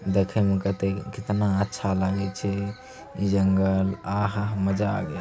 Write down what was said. देखे में कितेक कितना अच्छा लागे छे। इ जंगल आहा मजा आ गैल।